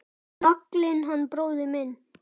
Naglinn hann bróðir minn.